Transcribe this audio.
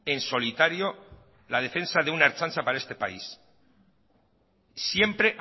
en solitario la defensa de una ertzaintza para este país siempre